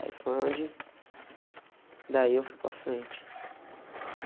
Aí foi onde, daí eu fui para frente.